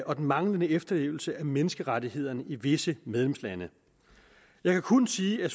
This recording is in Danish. og den manglende efterlevelse af menneskerettighederne i visse medlemslande jeg kan kun sige at